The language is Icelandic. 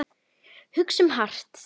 Hugsum hart.